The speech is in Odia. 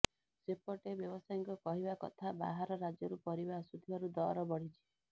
ସେପଟେ ବ୍ୟବସାୟୀଙ୍କ କହିବା କଥା ବାହାର ରାଜ୍ୟରୁ ପରିବା ଆସୁଥିବାରୁ ଦର ବଢିଛି